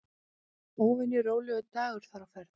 Óvenju rólegur dagur þar á ferð.